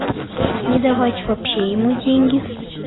не давать вообще ему деньги